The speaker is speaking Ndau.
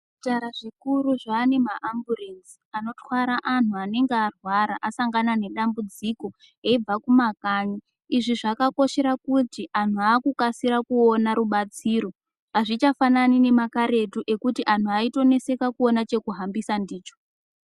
Zvipatara zvikuru zvane maambulenzi anotwara antu anenge arwara asangana nedambudziko achibva kumakanyi. Izvi zvakakoshera kuti antu akukasira kuona rubatsiro azvichafanani nemakaretu zvekuti vantu vaitoneseka kuona chekuhambisa ndicho.